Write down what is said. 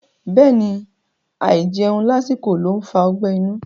Bẹ́ẹ̀ni, àìjẹun lásìkò ló ń fa ọgbẹ́ inú.